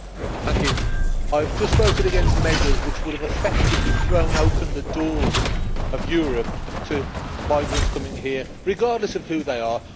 Madam President, I have just voted against measures which would have effectively thrown open the doors of Europe to migrants coming here regardless of who they are.